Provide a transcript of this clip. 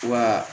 Wa